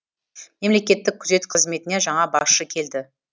мемлекеттік күзет қызметіне жаңа басшы келді